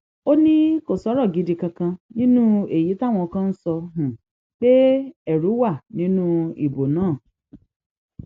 ó ní kó sọrọ gidi kankan nínú èyí táwọn kan ń sọ pé ẹrú wà nínú ìbò náà